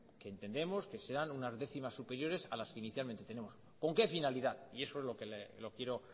que entendemos que serán una décimas superiores a las que inicialmente tenemos con qué finalidad y eso es lo que lo quiero